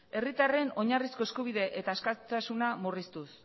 herritarren oinarrizko eskubide eta askatasuna murriztuz